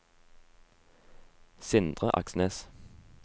Sindre Aksnes